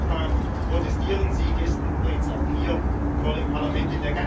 Überall in Europa protestieren sie gestern übrigens auch hier vor dem Parlament.